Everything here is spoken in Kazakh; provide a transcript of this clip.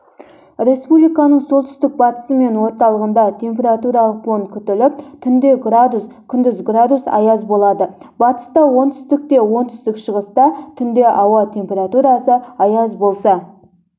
республиканың солтүстік-батысы мен орталығында температуралық фон күтіліп түнде градус күндіз градус аяз болады батыста оңтүстікте оңтүстік-шығыста түнде ауа температурасы аяз болса